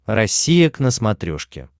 россия к на смотрешке